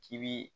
K'i bi